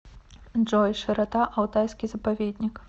джой широта алтайский заповедник